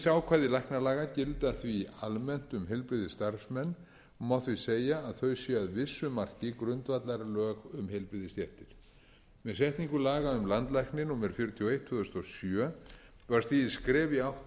ákvæði læknalaga gilda því almennt um heilbrigðisstarfsmenn og má því segja að þau séu að vissu marki grundvallarlög um heilbrigðisstéttir með setningu laga um landlækni númer fjörutíu og eitt tvö þúsund og sjö var stigið skref í átt